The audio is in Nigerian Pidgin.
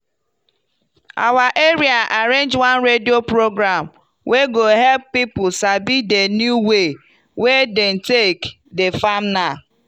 our area arrange one radio program wey go hep poeple sabi di new way wey dem take dey farm now.